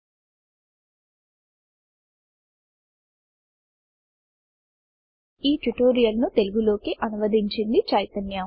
ఈ స్క్రిప్ట్ కు అనిమేషన్ లో తోడ్పడిన వారు ఆర్తి మరియు బొమ్మలు గీసిన వారు శౌరభ్ గాడ్గిల్ ఈ ట్యూటోరియల్ ను తెలుగు లోకి అనువదించింది చైతన్య